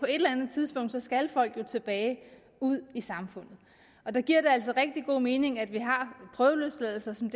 eller andet tidspunkt skal folk jo tilbage ud i samfundet og der giver det altså rigtig god mening at vi har prøveløsladelser som